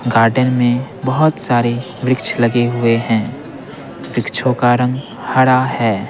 Garden में बहुत सारे वृक्ष लगे हुए हैं वृक्षों का रंग हरा है।